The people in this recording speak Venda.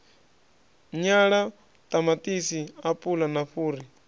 nyala ṱamaṱisi apula na fhuri